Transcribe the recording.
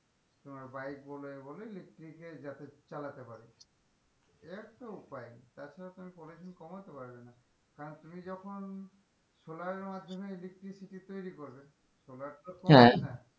তোমার bike এ বলো electric এর যাতে চালাতে পারে এ একটা উপায় তছাড়া তুমি pollution কমাতে পারবে কারণ তুমি যখন solar এর মাধমে electricity তৈরি করবে solar তো হ্যাঁ